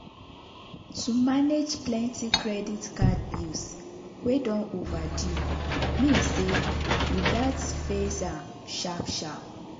to manage plenty credit card bills wey don overdue mean say you gats face am sharp sharp.